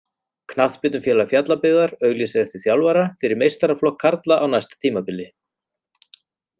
Knattspyrnufélag Fjallabyggðar auglýsir eftir þjálfara fyrir meistaraflokk karla á næsta tímabili.